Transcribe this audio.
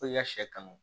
Fo i ka sɛ kanu